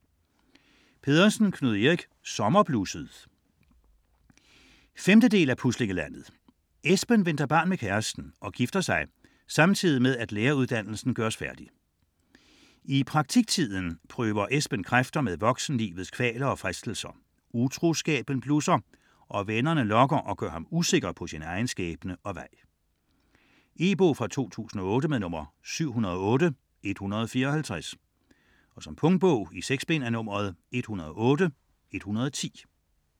Pedersen, Knud Erik: Sommerblusset 5. del af Puslinglandet. Esben venter barn med kæresten og gifter sig, samtidig med at læreruddannelsen gøres færdig. I praktiktiden prøver Esben kræfter med voksenlivets kvaler og fristelser, utroskaben blusser og vennerne lokker og gør ham usikker på sin egen skæbne og vej. E-bog 708154 2008. Punktbog 108110 2008. 6 bind.